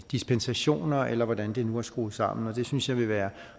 dispensationer eller hvordan det nu kan skrues sammen det synes jeg vil være